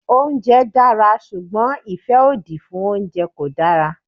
Oúnjẹ dára ṣùgbọ́n ìfẹ́ òdì fún oúnjẹ kò dára.